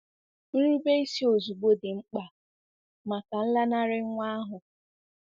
Nrubeisi ozugbo dị mkpa maka nlanarị nwa ahụ.